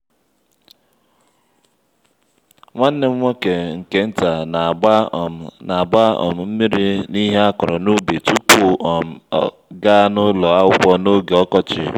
nwanne m nwoke nke nta n'agba um n'agba um mmiri n'ihe akọrọ n'ubi tupu ọ um ga ụlọ akwụkwọ n'oge ọkọchị